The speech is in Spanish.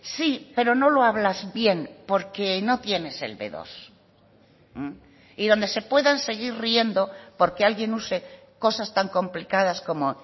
sí pero no lo hablas bien porque no tienes el be dos y donde se puedan seguir riendo porque alguien use cosas tan complicadas como